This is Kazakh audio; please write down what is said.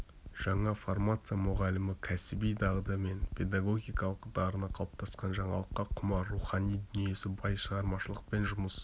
жаңа формация мұғалімі кәсіби дағды мен педагогикалық дарыны қалыптасқан жаңалыққа құмар рухани дүниесі бай шығармашылықпен жұмыс